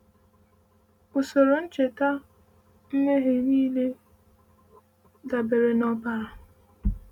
Usoro ncheta mmehie niile dabere na ọbara.